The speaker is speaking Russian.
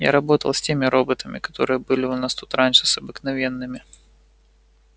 я работал с теми роботами которые были у нас тут раньше с обыкновенными